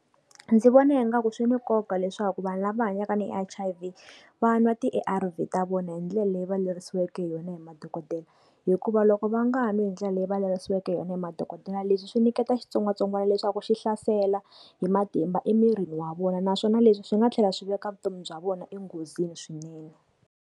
Ndzi vona ingaku swi ni nkoka leswaku vanhu lava hanyaka na H_I_V, va nwa ti-A_R_V ta vona hi ndlela leyi va lerisiweke hi yona hi madokodela. Hikuva loko va nga nwi hi ndlela leyi va lerisiweke hi yona hi madokodela leswi swi nyiketa xitsongwatsongwana leswaku xi hlasela hi matimba emirini wa vona naswona leswi swi nga tlhela swi veka vutomi bya vona enghozini swinene.